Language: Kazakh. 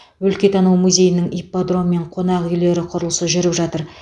өлкетану музейінің ипподром мен қонақ үйлер құрылысы жүріп жатыр